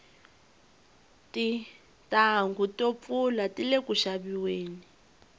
tintanghu to pfula tile ku xaviweni